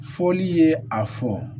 Fɔli ye a fɔ